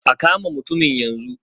A kama mutumin yanzu.